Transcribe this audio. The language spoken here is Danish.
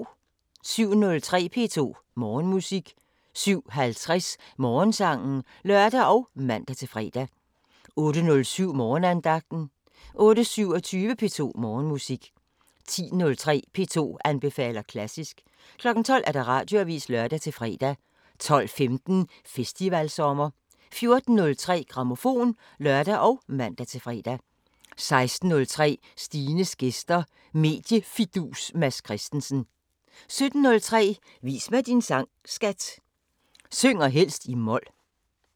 07:03: P2 Morgenmusik 07:50: Morgensangen (lør og man-fre) 08:07: Morgenandagten 08:27: P2 Morgenmusik 10:03: P2 anbefaler klassisk 12:00: Radioavisen (lør-fre) 12:15: Festivalsommer 14:03: Grammofon (lør og man-fre) 16:03: Stines gæster – Mediefidus Mads Christensen 17:03: Vis mig din sang, skat! – Synger helst i mol